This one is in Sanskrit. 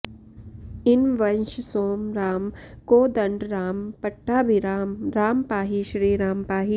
इनवंशसोम राम कोदण्डराम पट्टाभिराम राम पाहि श्रीराम पाहि